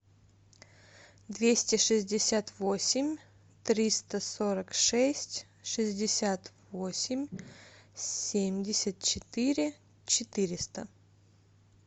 двести шестьдесят восемь триста сорок шесть шестьдесят восемь семьдесят четыре четыреста